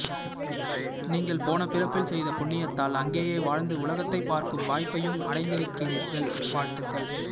நீங்கள் போன பிறப்பில் செய்த புண்ணியத்தால் அங்கேயே வாழ்ந்து உலகத்தைப் பார்க்கும் வாய்ப்பையும் அடைந்திருக்கிறீர்கள் வாழ்த்துக்கள்